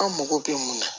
An mago bɛ mun na